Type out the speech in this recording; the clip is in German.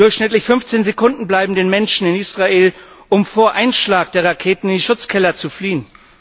Durchschnittlich 15 Sekunden bleiben den Menschen in Israel, um vor Einschlag der Raketen in Schutzkeller zu fliehen.